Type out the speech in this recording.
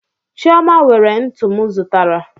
Chioma were ntu m zụtara